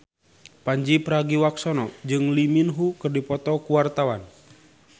Pandji Pragiwaksono jeung Lee Min Ho keur dipoto ku wartawan